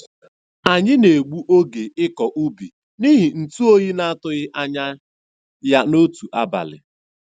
Anyị na-egbu oge ịkọ ubi n'ihi ntu oyi na-atụghị anya ya n'otu abalị.